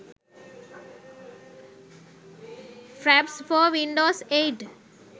fraps for windows 8